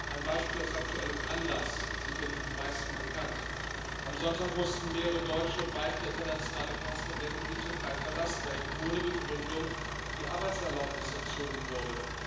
Ein Beispiel aus aktuellem Anlass sicherlich den meisten bekannt Am Sonntag mussten mehrere deutsche und weitere internationale Korrespondenten die Türkei verlassen, da ihnen ohne Begründung die Arbeitserlaubnis entzogen wurde.